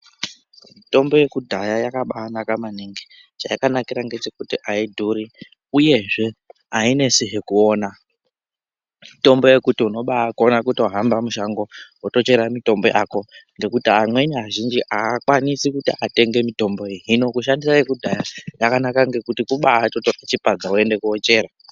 Mitombo yekudhaya yakabanaka maningi. Chayakanakira ngechekuti haidhuri uyezve hainetsizve kuona. Mitombo yekuti unobakona kutohamba mushango wotochera mitombo yako ngekuti amweni azhinji haakwanisi kuti atenge mitombo iyi. Hino kushandisa yekudhaya yakanaka ngekuti kubatora chipadza woende kochera.